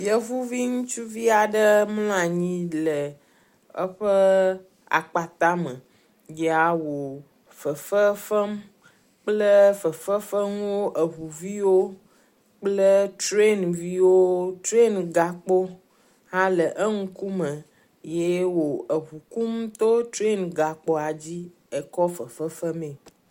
Yevuvi aɖe mlɔ anyi le eƒe akpata me yea wò fefe fem kple fefefenuwo eŋuviwo kple trianviwo, train gakpo hã le eŋkume ye wò eŋu kum to train gakpoa dzi ekɔ fefe fem mee.